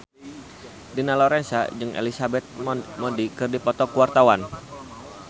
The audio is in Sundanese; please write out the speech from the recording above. Dina Lorenza jeung Elizabeth Moody keur dipoto ku wartawan